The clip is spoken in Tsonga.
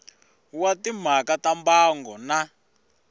wa timhaka ta mbango na